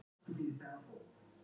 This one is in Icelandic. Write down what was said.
Fyrir mig?